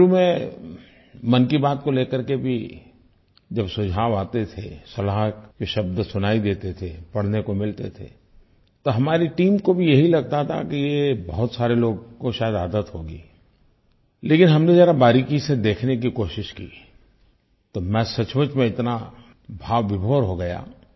शुरू में मन की बात को लेकर के भी जब सुझाव आते थे सलाह के शब्द सुनाई देते थे पढ़ने को मिलते थे तो हमारी टीम को भी यही लगता था कि ये बहुत सारे लोगों को शायद ये आदत होगी लेकिन हमने ज़रा बारीकी से देखने की कोशिश की तो मैं सचमुच में इतना भावविभोर हो गया